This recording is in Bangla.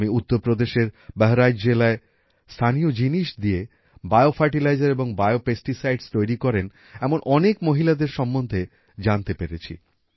আমি উত্তর প্রদেশের বেহেরাইচ জেলায় স্থানীয় জিনিষ দিয়ে বিও ফার্টিলাইজার এবং বিও পেস্টিসাইডস তৈরী করেন এমন অনেক মহিলাদের সম্বন্ধে জানতে পেরেছি